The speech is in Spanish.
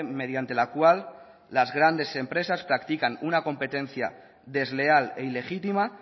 mediante la cual las grandes empresas practican una competencia desleal e ilegítima